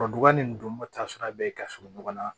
bɛ ka surun ɲɔgɔn na